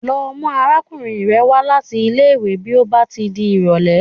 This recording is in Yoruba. Lọ mú arákùnrin rẹ wá láti ilé ìwé bí ó bá ti di ìrọ̀lẹ́.!